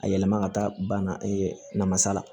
A yɛlɛma ka taa bana namasala